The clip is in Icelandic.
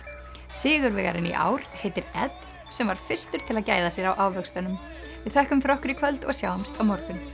sigurvegarinn í ár heitir sem var fyrstur til að gæða sér á ávöxtunum við þökkum fyrir okkur í kvöld og sjáumst á morgun